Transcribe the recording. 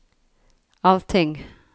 allting